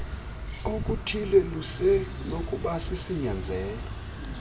okuthile lusenokuba sisinyanzelo